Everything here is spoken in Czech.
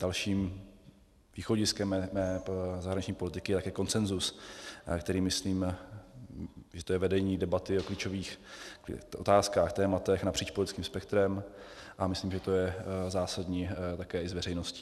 Dalším východiskem mé zahraniční politiky je také konsenzus, kterým myslím, že to je vedení debaty o klíčových otázkách, tématech napříč politickým spektrem, a myslím, že to je zásadní také i s veřejností.